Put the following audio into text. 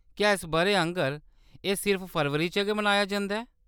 क्या इस बʼरे आंह्‌गर एह् सिर्फ फरवरी च गै मनाया जंदा ऐ ?